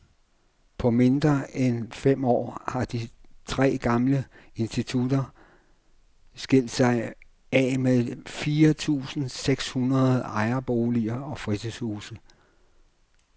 På mindre end fem år har de tre gamle institutter skilt sig af med fire tusinde seks hundrede ejerboliger og fritidshuse.